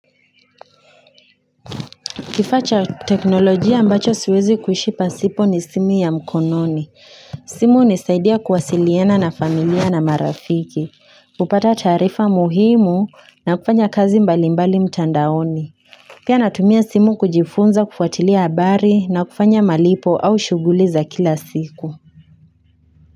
Kifaacha teknolojia ambacho siwezi kushipa sipo ni simu ya mkononi. Simu hunisaidia kuwasiliana na familia na marafiki. Kupata taarifa muhimu na kufanya kazi mbalimbali mtandaoni. Pia natumia simu kujifunza kufuatilia habari na kufanya malipo au shughuli za kila siku.